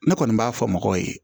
Ne kɔni b'a fɔ mɔgɔw ye